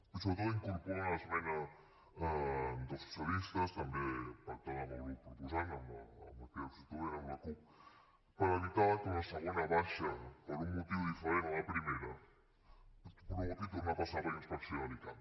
i sobretot incorpora una esmena dels socialistes també pactada amb el grup proposant amb la crida constituent amb la cup per evitar que una segona baixa per un motiu diferent a la primera provoqui tornar a passar per inspecció de l’icam